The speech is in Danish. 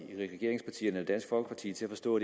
regeringspartierne eller dansk folkeparti til at forstå